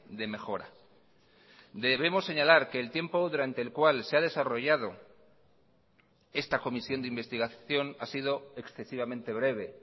de mejora debemos señalar que el tiempo durante el cual se ha desarrollado esta comisión de investigación ha sidoexcesivamente breve